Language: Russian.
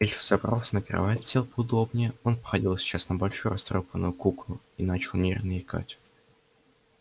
эльф взобрался на кровать сел поудобнее он походил сейчас на большую растрёпанную куклу и начал нервно икать